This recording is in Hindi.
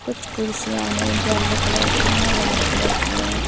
कुछ कुर्सियां हैं। येलो कलर की हैं। रेड कलर की हैं।